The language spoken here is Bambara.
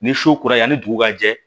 Ni su kura yani dugu ka jɛ